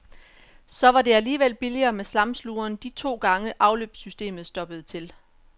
Så var det alligevel billigere med slamsugeren de to gange, afløbssystemet stoppede til.